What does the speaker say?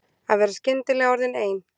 Að vera skyndilega orðin ein.